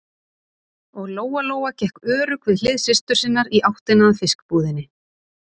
Og Lóa-Lóa gekk örugg við hlið systur sinnar í áttina að fiskbúðinni.